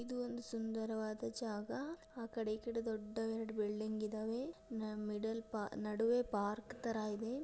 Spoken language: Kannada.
ಇದು ಒಂದು ಸುಂದರವಾದ ಜಾಗ ಆ ಕಡೆ ಈ ಕಡೆ ದೊಡ್ಡ ಎರಡು ಬಿಲ್ಡಿಂಗ್ ಇದ್ದಾವೆ ಮಿಡ್ಲ್ ನಡುವೆ ಪಾರ್ಕ್ ತರ ಇದೆ.